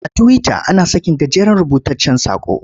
A Tiwita ana sakin gajeren rubutaccen saƙo.